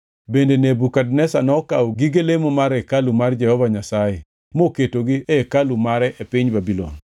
Bende Nebukadneza nokawo gige lemo mar hekalu mar Jehova Nyasaye moketogi e hekalu mare e piny Babulon.